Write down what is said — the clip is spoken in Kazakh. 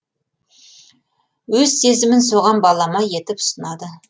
өз сезімін соған балама етіп ұсынады